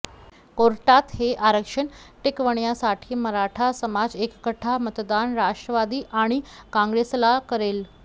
कोर्टात हे आरक्षण टिकवण्यासाठी मराठा समाज एकगठ्ठा मतदान राष्ट्रवादी आणि काँग्रेसला करेल